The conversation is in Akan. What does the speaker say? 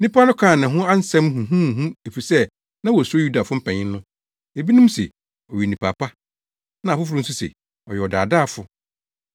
Nnipa no kaa ne ho nsɛm huhuhuhu efisɛ na wosuro Yudafo mpanyin no. Ebinom se, “Ɔyɛ onipa pa.” Na afoforo nso se, “Ɔyɛ ɔdaadaafo.”